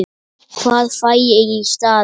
Hvað fæ ég í staðinn?